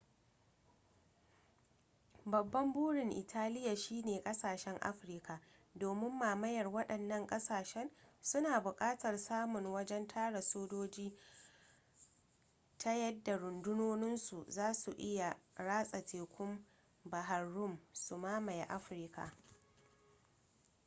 babban burin italiya shine kasashen afirka domin mamayar waɗannan ƙasashen suna buƙatar samun wajen tara sojoji ta yadda rundunoninsu zasu iya ratsa tekun bahr rum su mamaye afirka